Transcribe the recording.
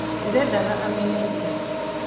ndiredaga amenye ira